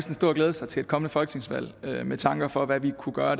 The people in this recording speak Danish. glæde sig til et kommende folketingsvalg med tanke på hvad vi kunne gøre